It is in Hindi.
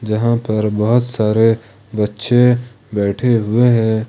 जहां पर बहुत सारे बच्चे बैठे हुए है।